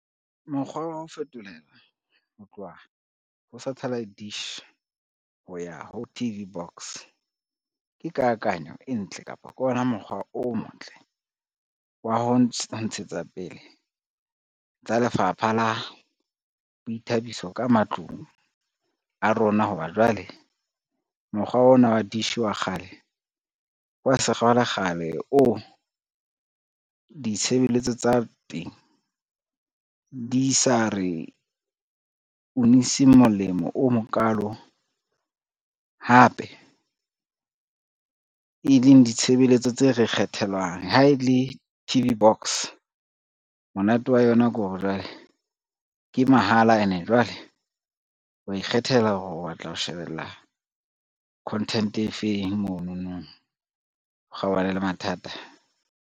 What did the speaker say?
Mokgwa wa ho fetolela ho tloha ho satellite dish, ho ya ho T_V box ke kakanyo e ntle kapa ke ona mokgwa o motle wa ho ntshetsa pele tsa lefapha la boithabiso ka matlung a rona, ho ba jwale mokgwa ona wa dish wa kgale, wa sekgalekgale oo ditshebeletso tsa teng di sa re uniseng molemo o mokalo, hape e leng ditshebeletso tse re kgethelwang. Ha e le T_V box monate wa yona ke hore jwale ke mahala ene jwale wa ikgethela hore o batla ho shebella content e feng, monono, o kgaohane le mathata.